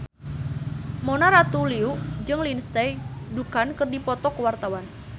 Mona Ratuliu jeung Lindsay Ducan keur dipoto ku wartawan